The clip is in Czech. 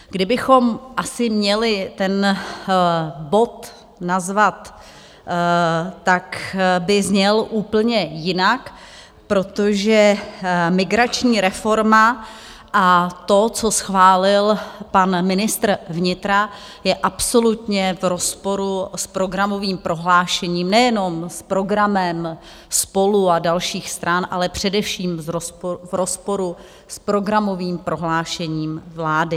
Kdybychom asi měli ten bod nazvat, tak by zněl úplně jinak, protože migrační reforma a to, co schválil pan ministr vnitra, je absolutně v rozporu s programovým prohlášením, nejenom s programem SPOLU a dalších stran, ale především v rozporu s programovým prohlášením vlády.